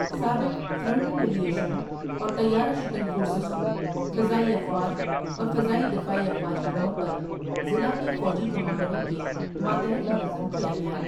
سابق frontal aviation اور طیارہ شکن فورسز کو فضائی افواج اور فضائی دفاعی افواج کے طور پر ضلع کے فوجی کمانڈروں کے ماتحت منظم کیا گیا ۔